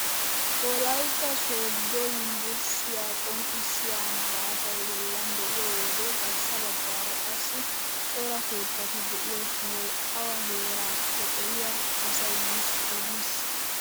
Wolaytta sooddo yunbburushiyaa qonccisiyaa malaatay boollan de'iyoo wode garssa baggaara qassi cora keettati de'iyo sohoy awa heerakko eriyaa asay nuusi odiis!